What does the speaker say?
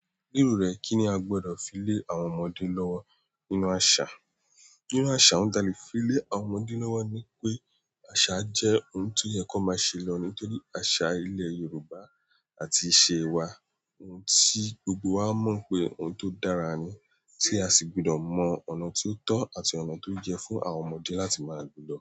Lero rẹ kini a gbọdọ fi le àwọn ọmọdé lọwọ nínú asa? Nínú àṣà, ohun ti a lé fi le àwọn ọmọdé lọ́wọ́ ni pé àṣà jẹ́ ohun tó yẹ kan máa ṣe lọ ní torí. Àṣà ilẹ̀ Yorùbá àti ìṣe wa, ohun tí gbogbo wa mọ̀ pé ohun tó dára ni tí a sì gbọ́dọ̀ mọ ọ̀nà tí ó tọ́ àti ọ̀nà tó yẹ fún àwọn ọmọdé láti máa lo lọ.